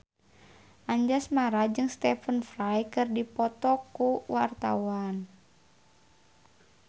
Anjasmara jeung Stephen Fry keur dipoto ku wartawan